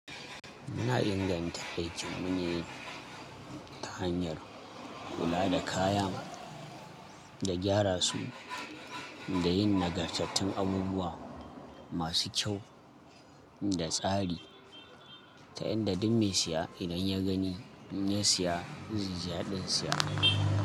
Muna inganta aikin mu ne ta hanyar kula da kaya, da gyara su da yin nagartattun abubuwa masu kyau da tsari ta yadda duk mai siya idan ya gani ya siya zai yi ziyadin siya.